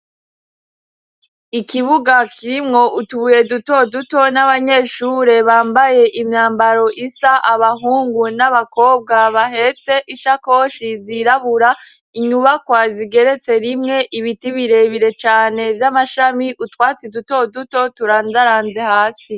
Ikibuga kirimwo utubuye duto duto n'abanyeshure bambaye imyambaro isa, abahungu n'abakobwa bahetse ishakoshi zirabura, inyubakwa zigeretse rimwe, ibiti birebire cane vy'amashami, utwatsi duto duto turandaranze hasi.